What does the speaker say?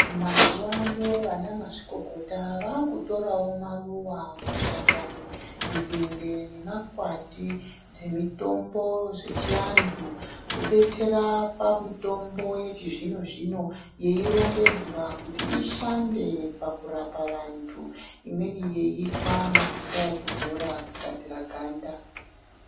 Mazuwano vanamazvikokota vakutorawo maruwa, mashakani, nzinde nemakwati dzemitombo zvechiantu kudetsera pamitombo yechizvino-zvino yeirongedzwa kuti ishande pakurapa vantu, imweni yeiitwa mafuta ekudzora kugadzira ganda.